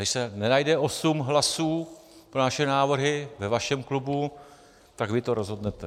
Když se nenajde 8 hlasů pro naše návrhy ve vašem klubu, tak vy to rozhodnete.